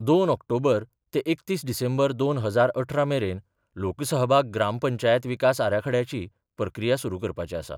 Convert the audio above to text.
दोन ऑक्टोबर ते एकतीस, डिसेंबर दोन हजार अठरा मेरेन लोकसहभाग ग्रामपंचायत विकास आराखडयाची प्रक्रिया सुरू करपाचे आसा.